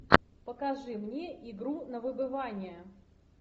покажи мне игру на выбывание